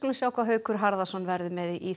sjá hvað Haukur Harðarson verður með í